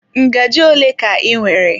Ngaji ole ka ị nwere?